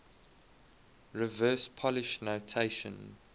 reverse polish notation